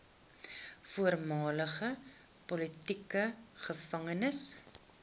voormalige politieke gevangenes